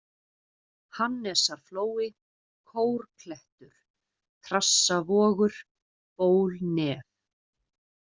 Hannesarflói, Kórklettur, Trassavogur, Bólnef